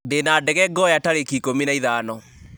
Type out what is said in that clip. ndĩna ndege ngoya tarĩki ikũmi na ithano